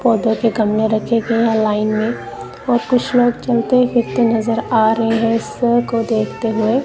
पौधों के गमले रखे गए हैं लाइन में और कुछ लोग चलते फिरते नजर आ रहे हैं इसको देखते हुए।